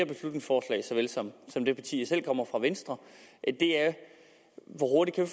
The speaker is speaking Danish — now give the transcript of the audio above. beslutningsforslag såvel som som det parti jeg selv kommer fra venstre hvor hurtigt vi